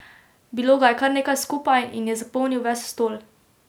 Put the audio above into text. Bilo ga je kar nekaj skupaj in je zapolnil ves stol.